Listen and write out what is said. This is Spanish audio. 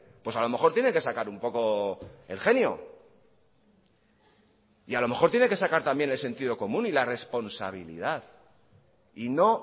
pues a lo mejor tiene que sacar un poco el genio y a lo mejor tiene que sacar también el sentido común y la responsabilidad y no